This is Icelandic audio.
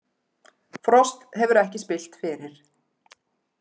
Frost hefur ekki spillt fyrir